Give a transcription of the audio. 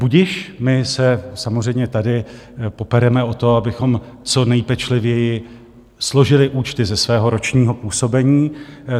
Budiž, my se samozřejmě tady popereme o to, abychom co nejpečlivěji složili účty ze svého ročního působení.